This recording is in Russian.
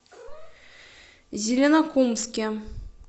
зеленокумске